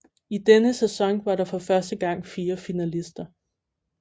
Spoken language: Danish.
I denne sæson var der for første gang fire finalister